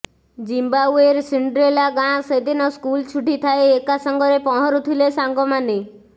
ଜିମ୍ୱାଓ୍ୱେର Cinderella ଗାଁ ସେଦିନ school ଛୁଟି ଥାଏ ଏକାସାଙ୍ଗରେ ପହଁରୁଥିଲେ ସାଙ୍ଗମାନେ